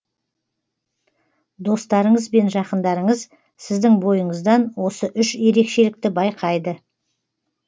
достарыңыз бен жақындарыңыз сіздің бойыңыздан осы үш ерекшелікті байқайды